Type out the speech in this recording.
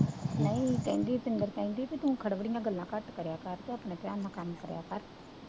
ਉਹ ਨਹੀਂ ਕਹਿੰਦੀ ਤੂੰ ਕਹਿੰਦੀ ਤੂੰ ਖੜਵੀਆਂ ਗੱਲਾਂ ਘੱਟ ਕਰਿਆ ਕਰ